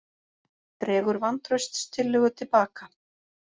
Dregur vantrauststillögu til baka